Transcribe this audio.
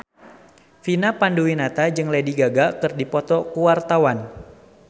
Vina Panduwinata jeung Lady Gaga keur dipoto ku wartawan